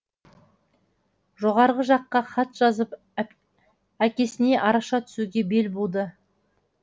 жоғарғы жаққа хат жазып әкесіне араша түсуге бел буды